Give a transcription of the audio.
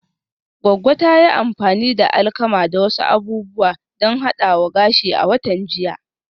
Goggo ta yi amfani da alkama da wasu abubuwa don hadawa gashi a watan jiya